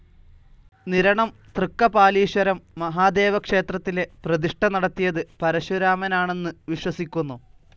നിരണം തൃക്കപാലീശ്വരം മഹാദേവക്ഷേത്രത്തിലെ പ്രതിഷ്ഠ നടത്തിയത് പരശുരാമനാണന്നു വിശ്വസിക്കുന്നു.